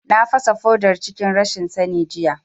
Na fasa fodar cikin rashin sani jiya